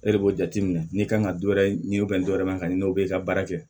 E de b'o jateminɛ n'i kan ka dɔ wɛrɛ ɲini dɔ wɛrɛ man ɲi o be ka baara kɛ